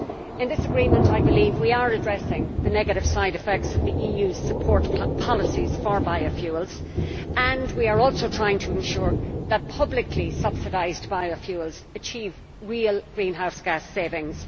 In this agreement I believe we are addressing the negative side effects of the EU's support policies for biofuels and we are also trying to ensure that publicly subsidised biofuels achieve real greenhouse gas savings.